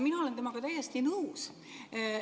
Mina olen temaga täiesti nõus.